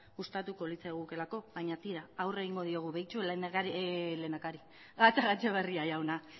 gustatuko litzaigukeelako baina tira aurre egingo diogu begiratu gatzagaetxebarria jauna